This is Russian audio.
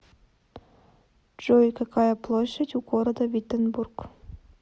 джой какая площадь у города виттенбург